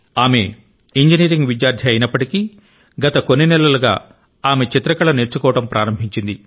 ఆమె ఇంజనీరింగ్ విద్యార్థి అయినప్పటికీ గత కొన్ని నెలలుగా ఆమె చిత్రకళను నేర్చుకోవడం ప్రారంభించింది